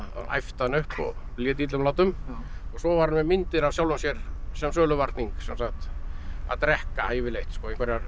æpti hann upp og lét illum látum svo var hann með myndir af sjálfum sér sem söluvarning sem sagt að drekka yfirleitt einhverjar